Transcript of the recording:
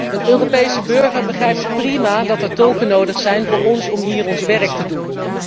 Een Europese burger begrijpt prima dat er tolken nodig zijn voor ons om hier ons werk te doen.